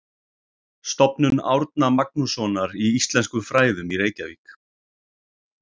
Stofnun Árna Magnússonar í íslenskum fræðum í Reykjavík.